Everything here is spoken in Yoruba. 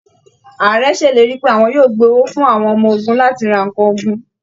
Ààrẹ ṣèlérí pé àwọn yóò gbé owó fún àwọn ọmọ ogun láti ra nǹkan ogun